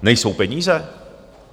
Nejsou peníze?